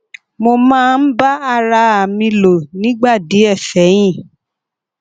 mo máa ń bá ara à mi lò nígbà díẹ sẹyìn